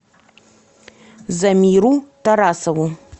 замиру тарасову